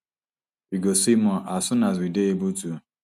we go say more as soon as we dey able to